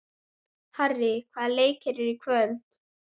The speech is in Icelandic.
Harrý, hvaða leikir eru í kvöld?